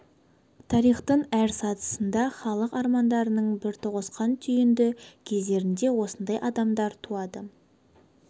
тарихтың әр сатысында халық арманының бір тоғысқан түйінді кездерінде осындай адамдар туады